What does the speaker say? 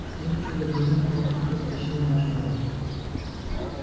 что за чудо природы папулька затащил в наш дом